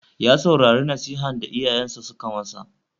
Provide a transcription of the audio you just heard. Ya saurari nasihan da iyayensa suka ma sa.